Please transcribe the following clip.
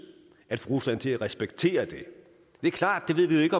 at få rusland til at respektere det det er klart at vi ikke